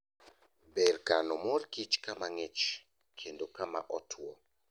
Ber kano mor kich kama ng'ich kendo kama otwo.